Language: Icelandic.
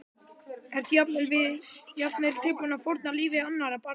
Erum við jafnvel tilbúin að fórna lífi annarra barna?